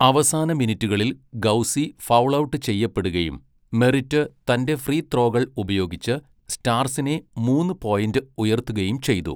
അവസാന മിനിറ്റുകളിൽ Gauci foul out ചെയ്യപ്പെടുകയും മെറിറ്റ് തന്റെ ഫ്രീത്രോകൾ ഉപയോഗിച്ച് സ്റ്റാർസിനെ മൂന്ന് പോയിന്റ് ഉയർത്തുകയും ചെയ്തു.